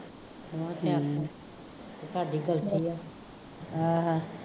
ਸਾਡੀ ਗਲਤੀ ਹੈ, ਹਾਂ ਹਾਂ